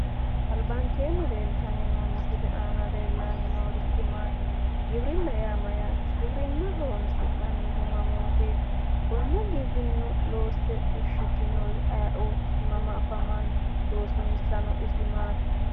Albaankenni leeltano misile aana leellani noorichi maati? Giwirinna yaa mayate? Giwirinna horonsi'nannihu mamotet? Konne giwirinna loosse fushitinori ayiioti? mama afamano loosissano isi maati?